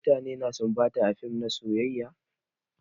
Mutane na sumbata a fim na soyayya.